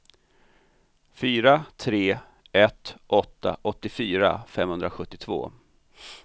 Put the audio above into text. fyra tre ett åtta åttiofyra femhundrasjuttiotvå